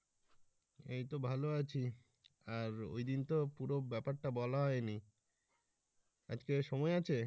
এই তো ভালো আছি। আর ওইদিন তো পুরো ব্যাপার টা বলা হয়নি আজকে সময় আছে?